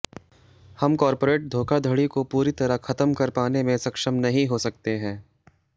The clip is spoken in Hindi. हम कॉर्पोरेट धोखाधड़ी को पूरी तरह खत्म कर पाने में सक्षम नहीं हो सकते हैं